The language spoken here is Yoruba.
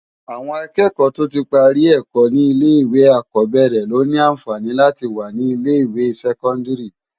Awòn ákéèkò tó ti pári èkò ni ilé iwé àlákòbèrè ló ni ànfáni láti wá ni ilé iwé sèkòndári